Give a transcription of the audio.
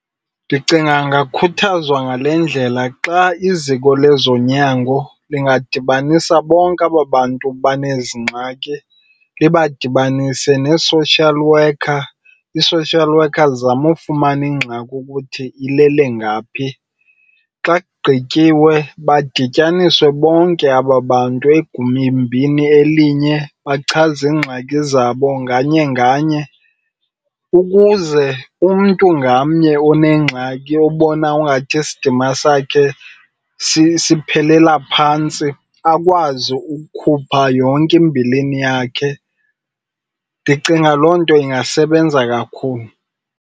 Ndicinga ingakhuthazwa ngale ndlela. Xa iziko lezonyango lingadibanisa bonke aba bantu benezi ngxaki, libadibanise nee-social worker. Ii-social worker zizame ufumana ingxaki ukuthi ilele ngaphi. Xa kugqityiwe badityaniswe bonke aba bantu elinye bachaze iingxaki zabo nganye nganye ukuze umntu ngamnye onengxaki obona ungathi isidima sakhe siphelela phantsi akwazi ukukhupha yonke imbilini yakhe. Ndicinga loo nto ingasebenza kakhulu.